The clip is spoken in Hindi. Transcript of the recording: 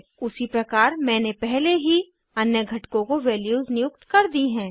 उसी प्रकार मैंने पहले ही अन्य घटकों को वैल्यूज़ नियुक्त कर दी हैं